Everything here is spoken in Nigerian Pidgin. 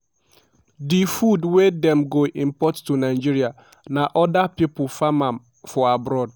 "di food wey dem go import to nigeria na oda pipo farm am for abroad.